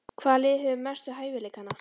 Hvaða lið hefur mestu hæfileikana?